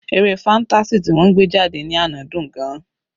Eré fantasy ti wọ́n gbé jáde ní àná dùn-ún gan-an.